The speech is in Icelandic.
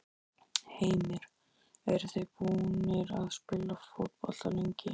Heimir: Eruð þið búnir að spila fótbolta lengi?